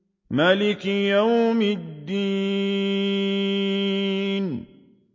مَالِكِ يَوْمِ الدِّينِ